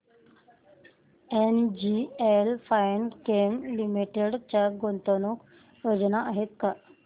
NGL Finechem Limited च्या गुंतवणूक योजना आहेत का